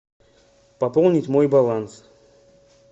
пополнить мой баланс